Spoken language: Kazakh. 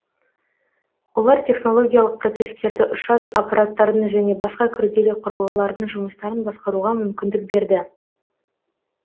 олар технологиялық процесстерді ұшатын аппараттардың және басқа күрделі құрылғылардың жұмыстарын басқаруға мүмкіндік берді